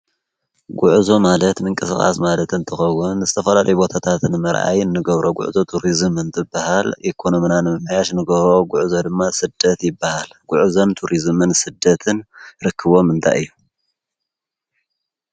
ጕዕዞ ማለት ምንቅስቃስ ማለት እንትከውን ዝተፈላለዩ ቦታታትን መርኣይ ንገብሮ ጕዕዞ ቱሪዝም እንትባሃል ኢኮኖሚና ንምምሕያሽ ንገብሮ ጕዕዞ ድማ ስደት ይባሃል። ጕዕዞ ቱሪዝም ስደትን ርክቦም እንታይ እዩ?